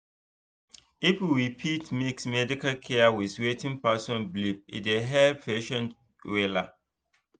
if we fit mix medical care with wetin person believe e dey help patients wella